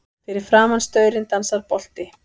Fyrir framan staurinn dansar bolti.